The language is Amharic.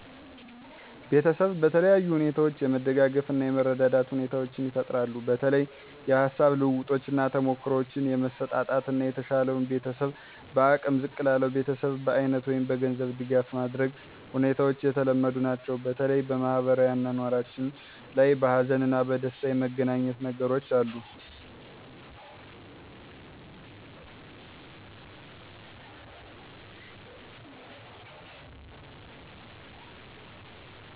ቤተሰብ በተለያዩ ሁኔታዎች የመደጋገፍ እና የመረዳዳት ሁኔታዎቻ ይፈጠራሉ በተለይ የሀሳብ ልውውጦች እና ተሞክሮዎችን የመሰጣጠት እና የተሻለው ቤተሰብ በአቅም ዝቅ ላለው ቤተሰብ በአይነት ወይም በገንዘብ ድጋፍ ማድረግ ሁኔታዎች የተለመዱ ናቸው። በተለይ በማህበራዊ አኗኗራችን ላይ በሀዘን እና በደስታ የመገናኘት ነገሮች አሉ።